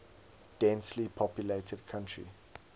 densely populated country